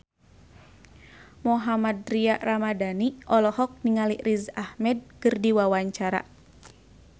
Mohammad Tria Ramadhani olohok ningali Riz Ahmed keur diwawancara